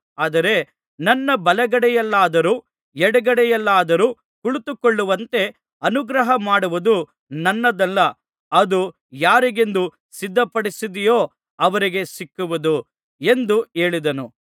ಆದರೆ ನನ್ನ ಬಲಗಡೆಯಲ್ಲಾದರೂ ಎಡಗಡೆಯಲ್ಲಾದರೂ ಕುಳಿತುಕೊಳ್ಳುವಂತೆ ಅನುಗ್ರಹಮಾಡುವುದು ನನ್ನದಲ್ಲ ಅದು ಯಾರಿಗೆಂದು ಸಿದ್ಧಪಡಿಸಿದೆಯೋ ಅವರಿಗೇ ಸಿಕ್ಕುವುದು ಎಂದು ಹೇಳಿದನು